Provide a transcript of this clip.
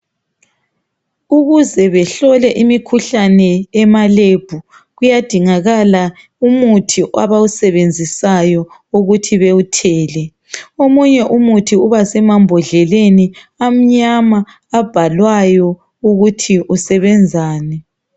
Ukuze behlole imikhuhlane ema"lab"kuyadingakala umuthi abawusebenzisayo ukuthi bewuthele. Omunye umuthi uba semambodleleni amnyama, abhalwayo ukuthi usebenzani.